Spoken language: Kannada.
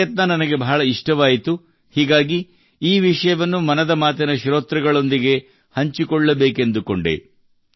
ಈ ಪ್ರಯತ್ನ ನನಗೆ ಬಹಳ ಇಷ್ಟವಾಯಿತು ಹೀಗಾಗಿ ಈ ವಿಷಯವನ್ನು ಮನದ ಮಾತಿನ ಶ್ರೋತೃಗಳೊಂದಿಗೆ ಹಂಚಿಕೊಳ್ಳಬೇಕೆಂದು ಕೊಂಡೆ